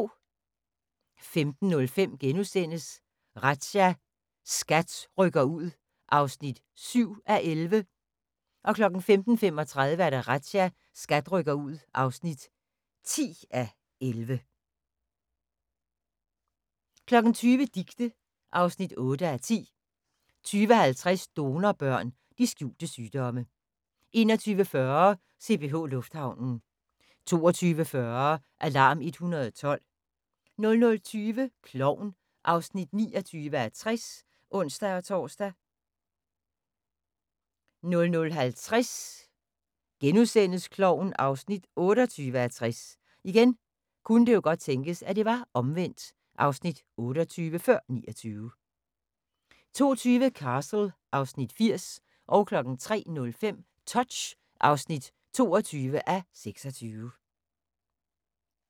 15:05: Razzia – SKAT rykker ud (7:11)* 15:35: Razzia – SKAT rykker ud (10:11) 20:00: Dicte (8:10) 20:50: Donorbørn – de skjulte sygdomme 21:40: CPH Lufthavnen 22:40: Alarm 112 00:20: Klovn (29:60)(ons-tor) 00:50: Klovn (28:60)* 02:20: Castle (Afs. 80) 03:05: Touch (22:26)